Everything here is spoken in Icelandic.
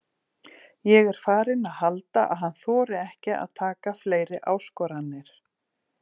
Ég er farinn að halda að hann þori ekki að taka fleiri áskoranir.